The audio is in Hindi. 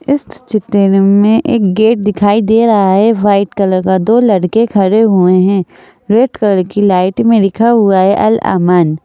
इस चित्र में एक गेट दिखाई दे रहा है वाइट कलर का दो लड़के खड़े हुए हैं रेड कलर की लाइट में लिखा हुआ है अल अमन।